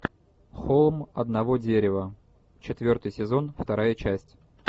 холм одного дерева четвертый сезон вторая часть